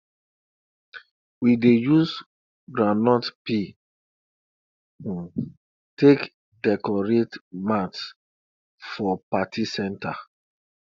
we dey use groundnut peel um take decorate mats for party center